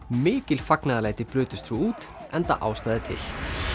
mikil fagnaðarlæti brutust svo út enda ástæða til